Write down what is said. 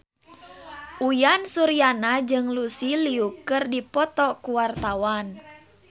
Uyan Suryana jeung Lucy Liu keur dipoto ku wartawan